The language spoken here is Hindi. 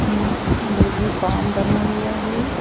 उम्मुर्गी फार्म बना हुआ है।